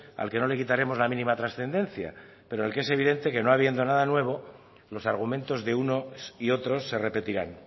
al que no le quitaremos la mínima transcendencia pero en el que es evidente que no habiendo nada nuevo los argumentos de unos y otros se repetirán